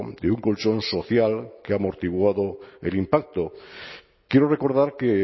de un colchón social que ha amortiguado el impacto quiero recordar que